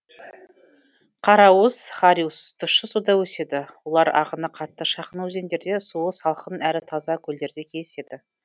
қараусыз хариус тұщы суда өседі олар ағыны қатты шағын өзендерде суы салқын әрі таза көлдерде кездеседі